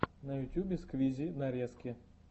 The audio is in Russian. на ютьюбе сквизи нарезки